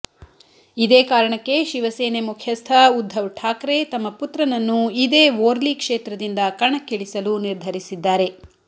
ಇದೇ ಕಾರಣಕ್ಕೆ ಶಿವಸೇನೆ ಮುಖ್ಯಸ್ಥ ಉದ್ಧವ್ ಠಾಕ್ರೆ ತಮ್ಮ ಪುತ್ರನನ್ನು ಇದೇ ವೋರ್ಲಿ ಕ್ಷೇತ್ರದಿಂದ ಕಣಕ್ಕಿಳಿಸಲು ನಿರ್ಧರಿಸಿದ್ದಾರೆ